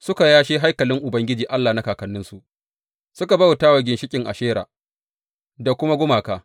Suka yashe haikalin Ubangiji Allah na kakanninsu, suka bauta wa ginshiƙan Ashera da kuma gumaka.